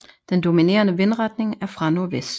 Den dominerende vindretning er fra nordvest